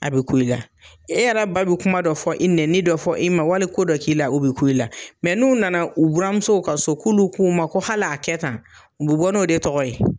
A be ku i la e yɛrɛ ba be kuma dɔ fɔ i nɛni dɔ fɔ i ma wali ko dɔ k'i la o be ku ila mɛ n'u nana u buranmusow ka so k'olu k'u ma ko hali' a kɛ tan u be bɔ n'o de tɔgɔ ye